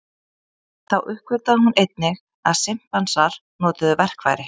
Þá uppgötvaði hún einnig að simpansar notuðu verkfæri.